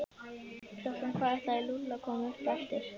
Klukkan hvað ætlaði Lúlli að koma upp eftir?